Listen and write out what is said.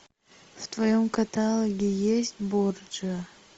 в твоем каталоге есть борджиа